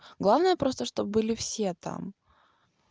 главное просто чтоб были все там